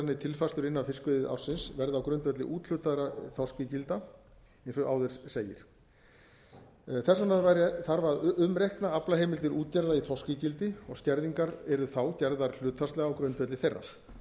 tilfærslur innan fiskveiðiársins verði á grundvelli úthlutaðra þorskígilda eins og áður segir þess vegna þarf að umreikna aflaheimildir útgerða í þorskígildi og skerðingar yrðu gerðar hlutfallslega á grundvelli þeirra